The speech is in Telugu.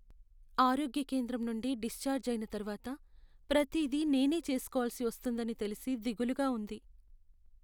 ఆరోగ్య కేంద్రం నుండి డిశ్చార్జ్ అయిన తర్వాత ప్రతిదీ నేనే చేసుకోవాల్సి వస్తుందని తెలిసి దిగులుగా ఉంది.